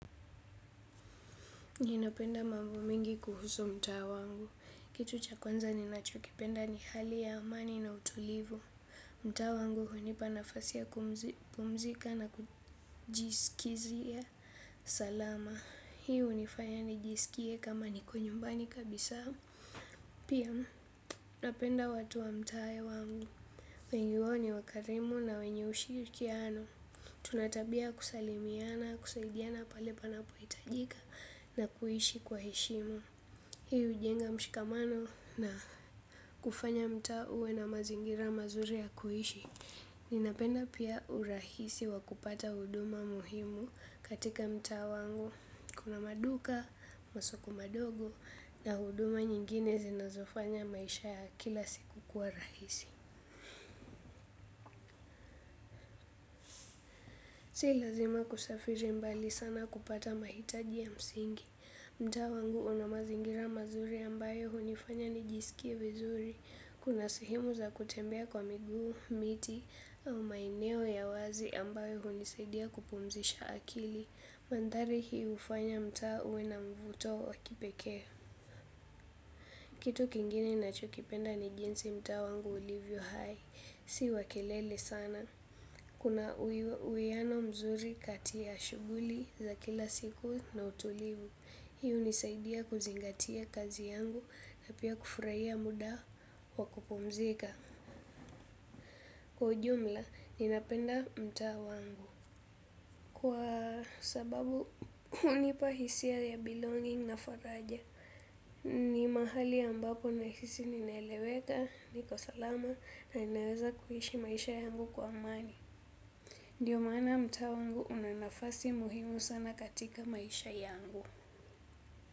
Ninapenda mambo mingi kuhusu mtaa wangu. Kitu cha kwanza ninachokipenda ni hali ya amani na utulivu. Mtaa wangu hunipa nafasi ya kupumzika na kujisikizia salama. Hii hunifanya nijisikie kama niko nyumbani kabisa. Pia napenda watu wa mtaa wangu, wengi wao ni wakarimu na wenye ushirikiano. Tuna tabia ya kusalimiana, kusaidiana pale panapohitajika na kuishi kwa heshima. Hii hujenga mshikamano na kufanya mtaa uwe na mazingira mazuri ya kuishi. Ninapenda pia urahisi wa kupata huduma muhimu katika mtaa wangu. Kuna maduka, masoko madogo na huduma nyingine zinazofanya maisha ya kila siku kwa rahisi. Si lazima kusafiri mbali sana kupata mahitaji ya msingi. Mtaa wangu una mazingira mazuri ambayo hunifanya nijisikie vizuri. Kuna sehemu ya kutembea kwa miguu miti au maeneo ya wazi ambayo hunisaidia kupumzisha akili. Mandhari hii hufanya mtaa uwe na mvuto wa kipekee. Kitu kingine ninachokipenda ni jinsi mtaa wangu ulivyo hai, si wa kelele sana. Kuna uwiano mzuri katia shughuli za kila siku na utulivu. Hii hunisaidia kuzingatia kazi yangu na pia kufurahia muda wa kupumzika. Kwa ujumla ninapenda mtaa wangu kwa sababu, hunipa hisia ya belonging na faraja. Ni mahali ambapo nahisi ninaeleweka. Niko salama na ninaweza kuhishi maisha yangu kwa amani. Ndiyo maana mtaa wangu una nafasi muhimu sana katika maisha yangu.